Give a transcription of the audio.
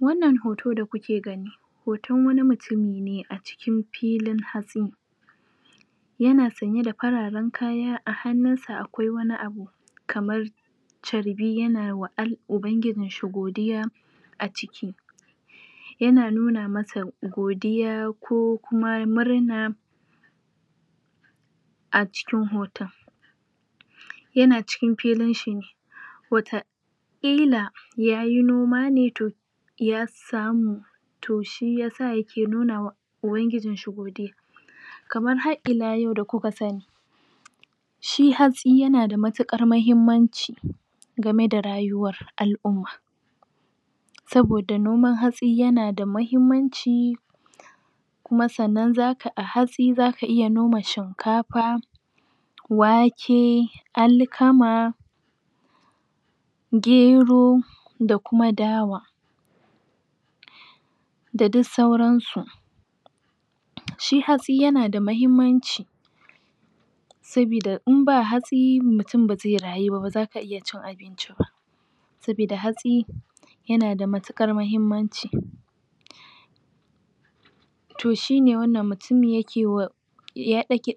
Wannar hoto da kuke gani hoton wani mutun ne a acikin filin hatsi yana sanye da fararen kaya a hannunsa akwai wani abu kamar charbi yana wa ubangijinshi godiya aji yana nuna masa godiya ko kuma murna acikin hoton yana cikin filinshi hoton illa yayi noma ne to ya samu to shiyasa yake nuna wa ubangijinshi kaman har ila yau da kuka sani shi hatsi yana da matukar mahimmanci game da rayuwa alumma saboda noman hatsi yana da mahimmanci kuma sannan a hatsi zaka iya noma shinkafa wake alkama gero da kuma dawa da dik sauran su shi hatsi yana da mahimmanci saboda inba hatsi mutun ba zai rayuba bazaka iya cin abinci ba saboda hatsi yana da matukar mahimmanci to shine wannan mutumin yake wa